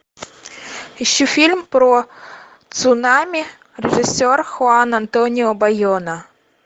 ищи фильм про цунами режиссер хуан антонио байона